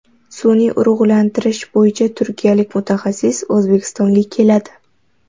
Sun’iy urug‘lantirish bo‘yicha turkiyalik mutaxassis O‘zbekistonga keladi.